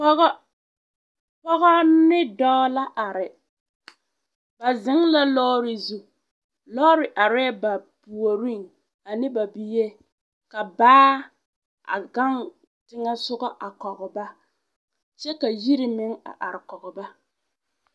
Pɔgɔ ne dɔɔ la are ba zeŋ la lɔɔre zu lɔɔre arɛɛ ba puoriŋ ane ba bie ka baa a gaŋ teŋɛsogɔ a kɔge ba kyɛ ka yiri meŋ a are kɔge ba.